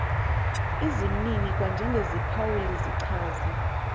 izimnini kwanjengeziphawuli zichaza